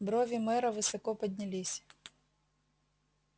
брови мэра высоко поднялись